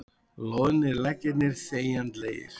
Loðnir leggirnir þegjandalegir.